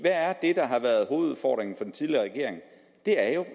er det der har været hovedudfordringen for den tidligere regering det er jo at